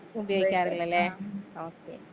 ഉപയോഗിക്കാറില്ലല്ലേ okay.